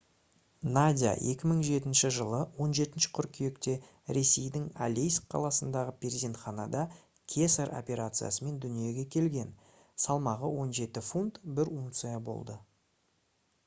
надя 2007 жылы 17 қыркүйекте ресейдің алейск қаласындағы перзентханада кесар операциясымен дүниеге келген салмағы 17 фунт 1 унция болды